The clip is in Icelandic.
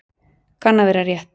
Kann að vera rétt.